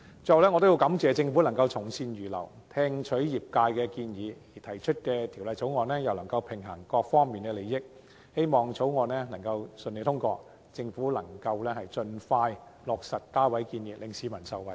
最後，我要感謝政府從善如流，聽取業界的建議，提出的《條例草案》又能夠平衡各方面的利益，我亦希望《條例草案》能夠順利通過，政府也能盡快落實加位建議，讓市民受惠。